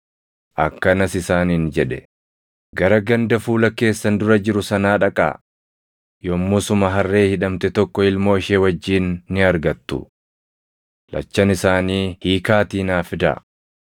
akkanas isaaniin jedhe; “Gara ganda fuula keessan dura jiru sanaa dhaqaa; yommusuma harree hidhamte tokko ilmoo ishee wajjin ni argattu. Lachan isaanii hiikaatii naa fidaa.